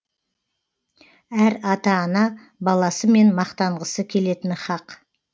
әр ата ана баласымен мақтанғысы келетіні хақ